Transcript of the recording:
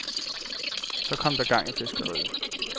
Så kom der gang i fiskeriet.